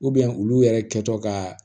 olu yɛrɛ kɛtɔ ka